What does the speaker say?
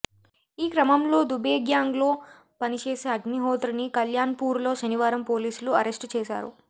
ఈ క్రమంలో దుబే గ్యాంగ్లో పనిచేసే అగ్నిహోత్రిని కల్యాణ్పూర్లో శనివారం పోలీసులు అరెస్టు చేశారు